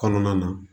Kɔnɔna na